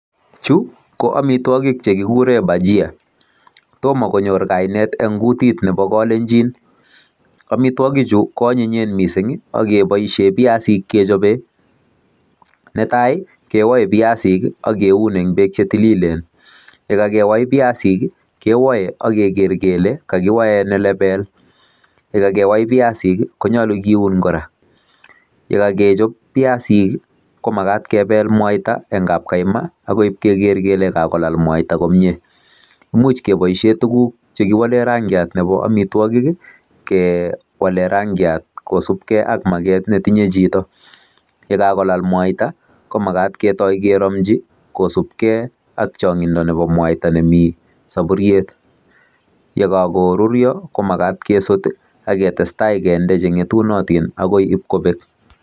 Chu ko amitwogik chekikuuren bachia. Tomo konyoor kainet en kutit Nebo kolenjin. Amitwogichu ko anyone missing ak keboishien biasik kechobe. Netai kewoe biasik ak kiun en beek chetilileen, chekakewai biasik kewoe ak kele kakiwai nelebel ,yekakewai baisik konyolu kiun kora. Yekokechob biasik komagat jebel mwaita, en kapkaima akoi keger kele kakolaal mwaita komie. Imuch keboishien tuguuk che kiwolen rangiat chebo amitwogik kewalen rangiat kosiibge ak maaget netinye chito. Yekakolaal mwaita, komogat ketoi keromchii kosibggei ak chongindo nebo mwaita nemi sopuriet .Yekokoruryo komagat kesut ak ketestai en chetunotin akoi ib kobeek.